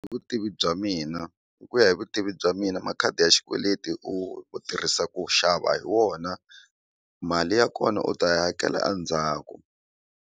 Vutivi bya mina hi ku ya hi vutivi bya mina makhadi ya xikweleti u u tirhisa ku xava hi wona mali ya kona u ta yi hakela a ndzhaku.